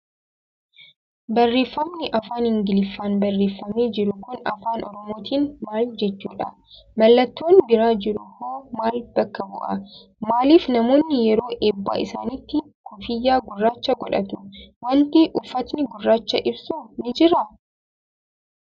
Barreeffamni afaan Ingiliffaan barreeffamee jiru kun afaan Oromootiin maal jechuudha? Mallattoon bira jiru hoo maal bakka bu'a? Maaliif namoonni yeroo eebba isaaniitti kuffiyyaa gurraacha godhatu? Waanti uffatni gurraachi ibsu ni jiraa?